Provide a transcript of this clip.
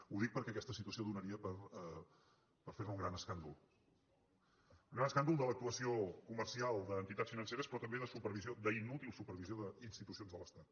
ho dic perquè aquesta situació donaria per fer ne un gran escàndol un gran escàndol de l’actuació comercial d’entitats financeres però també de supervisió d’inútil supervisió d’institucions de l’estat